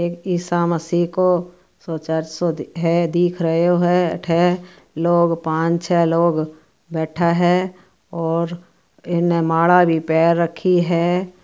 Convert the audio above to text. एक ईसा मसीहो को चर्च सो दिखे दिख रहियो है अठे लोग पांच-छः लोग बैठा है और इन ने माला भी पेहर रखी है।